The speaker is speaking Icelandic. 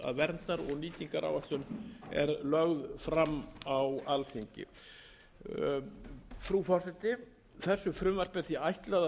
verndar og nýtingaráætlun er lögð fram á alþingi frú forseti þessu frumvarpi er ætlað